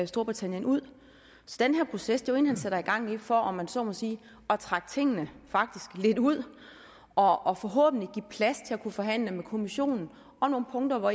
storbritannien ud så den her proces er jo en han sætter i gang for om man så må sige at trække tingene lidt ud og og forhåbentlig give plads til at kunne forhandle med kommissionen om nogle punkter hvor